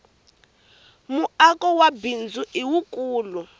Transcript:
muako wa bindzu i wukulu